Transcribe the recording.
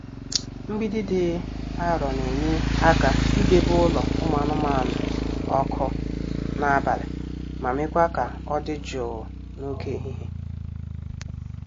Mgbidi dị arọ na-enye aka idebe ụlọ ụmụ anụmanụ ọkụ n'abalị ma mekwaa ka ọ dị jụụ n'oge ehihie.